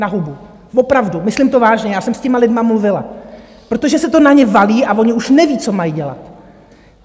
Na hubu, opravdu, myslím to vážně, já jsem s těmi lidmi mluvila, protože se to na ně valí a oni už nevědí, co mají dělat.